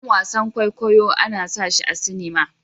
Sabon wasan kwaikwayo ana sashi a cinima